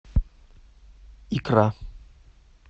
икра